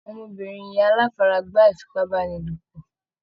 Ọmọbìnrin yẹn aláfaragbá ìfipábánilopọ̀.